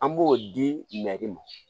An b'o di ma